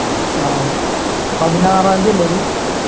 ആഹ് പതിനാറാംതീ അല്ലേ അത്